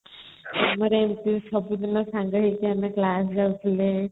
ଆମର ଏମିତି ସବୁଦିନ ସାଙ୍ଗ ହେଇକି ଆମେ class ଯାଉଥିଲେ |